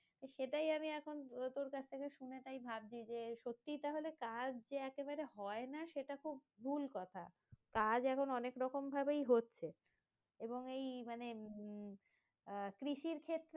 তো সেটাই আমি এখন তোর কাছে থেকে শুনে তাই ভাবছি সত্যি তাহলে যে চাষ যে একেবারে হয়না সেটা খুব ভুল কথা কাজ এখন অনেক রকম ভাবেই হচ্ছে এবং এই মানে উম আহ কৃষির ক্ষেত্রে